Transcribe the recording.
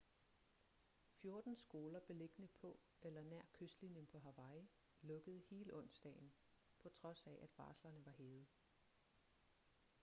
fjorten skoler beliggende på eller nær kystlinjen på hawaii lukkede hele onsdagen på trods af at varslerne var hævet